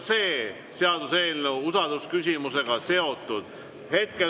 See seaduseelnõu on samuti usaldusküsimusega seotud.